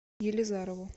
елизарову